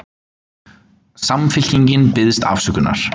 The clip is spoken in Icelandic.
Samfylkingin biðst afsökunar